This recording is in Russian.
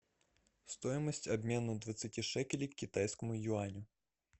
стоимость обмена двадцати шекелей к китайскому юаню